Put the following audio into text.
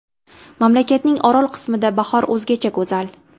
Mamlakatning orol qismida bahor o‘zgacha go‘zal.